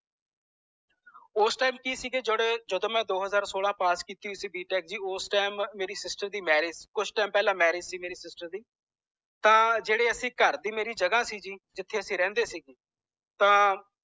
ਓਸ ਟੀਮ ਕਿ ਜੇਡੇ ਜਦੋ ਮੈ ਦੋ ਹਜਾਰ ਸੋਲਾਂ ਪਾਸ ਕੀਤੀ ਹੋਇ ਸੀ b. tech ਜੀ ਪਾਸ ਕੀਤੀ ਸੀ b. tech ਓਦੋਂ ਮੇਰੀ sister ਦੀ marriage ਸੀ ਕੁਝ time ਪਹਿਲਾਂ ਸਿਸਟਰ ਦੀ marriage ਸੀ ਤਾਂ ਜੇਡੇ ਅਸੀਂ ਤਾਂ ਅਸੀਂ ਘਰ ਦੀ ਮੇਰੇ ਜਗਾਹ ਸੀ ਜਿਥੇ ਅਸੀਂ ਰਹਿੰਦੇ ਸੀ ਤਾਂ